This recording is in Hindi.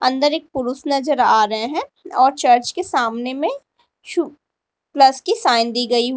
अंदर एक पुरुष नजर आ रहे हैं और चर्च के सामने में प्लस की साइन दी गई हुई--